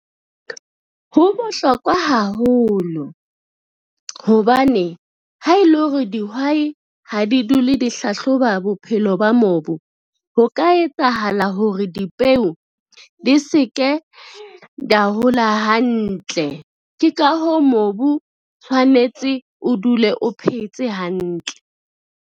Ho bohlokwa haholo, hobane ha e le hore dihwai ha di dule di hlahloba bophelo ba mobu, ho ka etsahala hore dipeo di se ke hola hantle, ke ka hoo mobu tshwanetse o dule o phetse hantle.